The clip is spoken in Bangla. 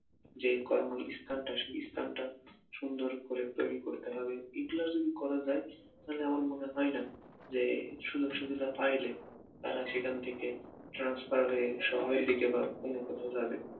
যে কর্মস্থানটা সেই স্থানটা সুন্দর করতে তৈরী করতে হবে, এইগুলা যদি করা যায় তাহলে আমার মনে হয়না যে এই সুযোগ সুবিধা পাইলে তারা সেখান থেকে transfer হয়ে শহরে দিকে বা অন্য কোথাও যাবে